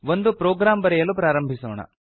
ಒಂದು ಪ್ರೊಗ್ರಾಮ್ ಬರೆಯಲು ಪ್ರಾರಂಭಿಸೋಣ